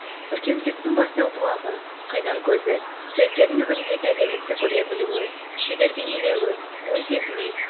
көркемділіктің бастау бұлағы қайнар көзі суреткердің өміріндегі әдемілікті көре білуі шебер бейнелеуі ой сезімін